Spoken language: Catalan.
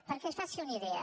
perquè se’n faci una idea